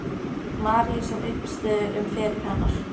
Maríu sem uppistöðu um feril hennar.